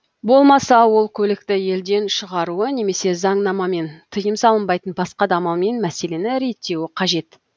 болмаса ол көлікті елден шығаруы немесе заңнамамен тыйым салынбайтын басқа да амалмен мәселесін реттеуі қажет